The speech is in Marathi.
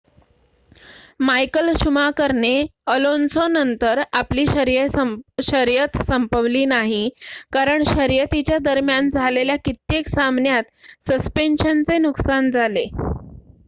मायकल शुमाकरने अलोन्सोनंतर आपली शर्यत संपवली नाही कारण शर्यतीच्या दरम्यान झालेल्या कित्येक सामन्यात सस्पेंशनचे नुकसान झाले